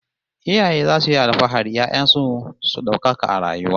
Iyaye zasu yi alfahari 'ya'yan su su daukaka a rayuwa